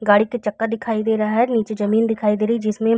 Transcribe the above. गाड़ी का चक्का दिखाई दे रहा हैं; नीचे जमीन दिखाई दे रही हैं जिसमें --